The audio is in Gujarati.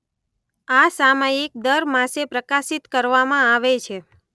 આ સામાયિક દર માસે પ્રકાશીત કરવામાં આવે છે.